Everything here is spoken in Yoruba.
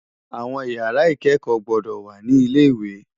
Áwòn ìyàrá ikèékò gbòdò wá ni ilé iwé